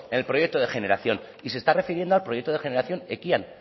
el proyecto de generación y se está refiriendo al proyecto de generación ekian